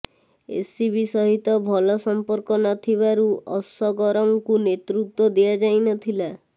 ACB ସହିତ ଭଲ ସମ୍ପର୍କ ନ ଥିବାରୁ ଅସଗରଙ୍କୁ ନେତୃତ୍ବ ଦିଆଯାଇନଥିଲା